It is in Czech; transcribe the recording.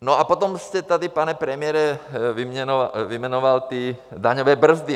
No a potom jste tady, pane premiére, vyjmenoval ty daňové brzdy.